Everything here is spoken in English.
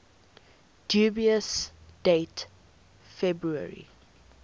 dubious date february